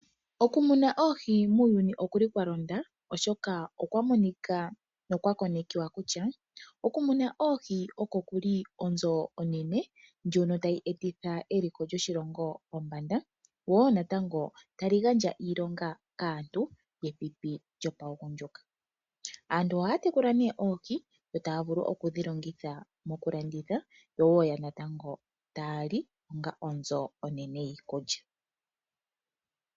Okumuna oohi muuyuni okuli kwalonda oshoka okwa konekiwa kutya okumuna oohi oko kuli onzo onene ndjono tayi etitha eliko lyoshilongo pombanda lyo natango tali gandja aantu kepipi lyaagundjuka. Aantu ohaya tekula nee oohi yo taya vulu okudhilanditha yo tayali onga onzo onene yiikulya.